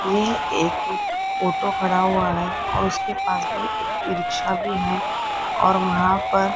यह एक ऑटो खड़ा हुआ है और उसके पास में एक ई रिक्शा भी है और वहां पर --